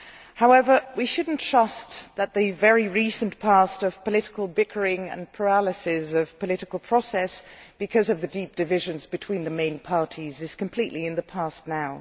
However, we should not trust that the very recent past of political bickering and paralysis of political process because of the deep divisions between the main parties is completely in the past now.